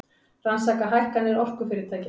Rannsaka hækkanir orkufyrirtækja